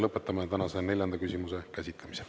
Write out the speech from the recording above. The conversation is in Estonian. Lõpetame tänase neljanda küsimuse käsitlemise.